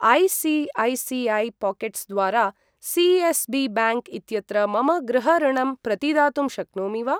ऐ.सी.ऐ.सी.ऐ.पाकेट्स् द्वारा सी.एस्.बी.ब्याङ्क् इत्यत्र मम गृह ऋणम् प्रतिदातुं शक्नोमि वा?